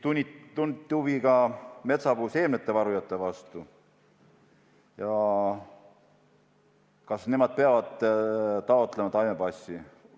Tunti huvi ka metsapuude seemnete varujate vastu: kas nemad peavad taotlema taimepassi.